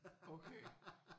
Okay